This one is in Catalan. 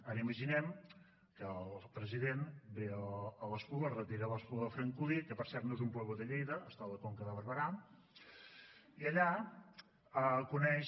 ara imaginem que el president ve a l’espluga es retira a l’espluga de francolí que per cert no és un pueblo de lleida està a la conca de barberà i allà coneix